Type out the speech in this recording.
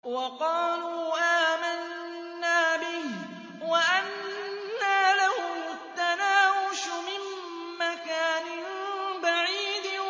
وَقَالُوا آمَنَّا بِهِ وَأَنَّىٰ لَهُمُ التَّنَاوُشُ مِن مَّكَانٍ بَعِيدٍ